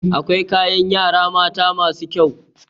Akwai kayan yara mata masu kyau.